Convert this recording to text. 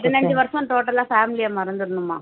பதினைந்து வருஷம் total ஆ family அ மறந்திரணும்மா